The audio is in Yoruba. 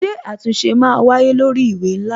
Ṣé àtúnṣe máa wáyé lórí ìwé ńlá?